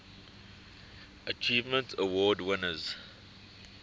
achievement award winners